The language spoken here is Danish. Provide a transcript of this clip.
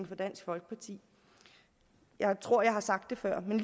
for dansk folkeparti jeg tror at jeg har sagt det før men